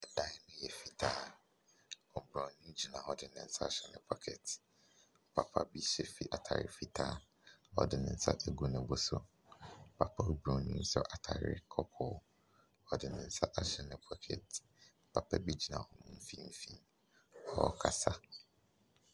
Ɛdan no yɛ fitaa Oburonin gyina hɔ de ne nsa ahyɛ ne pocket. Papa bu hyɛ fi atade fitaa. Ɔde ne nsa agu ne bo so. Papa Buronin hyɛ atade kɔkɔɔ. Ɔde ne nsaahyɛ ne pocket. Papa bi gyina wɔn mfimfini. Ɔrekasa.